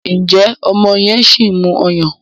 njé ọmọ yen sìn mú ọyàn?